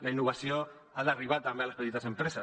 la innovació ha d’arribar també a les petites empreses